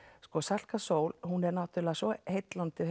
sko Salka Sól hún er náttúrulega svo heillandi